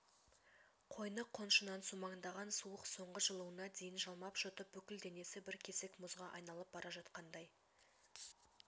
қойны-қоншынан сумаңдаған суық соңғы жылуына дейін жалмап-жұтып бүкіл денесі бір кесек мұзға айналып бара жатқандай